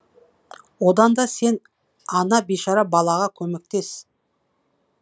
одан да сен ана бишара балаға көмектес